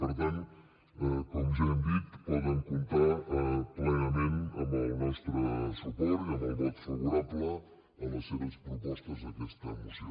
per tant com ja hem dit poden comptar plenament amb el nostre suport i amb el vot favorable a les seves propostes d’aquesta moció